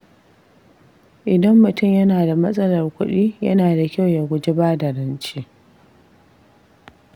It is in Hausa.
Idan mutum yana da matsalar kuɗi, yana da kyau ya guji bada rance.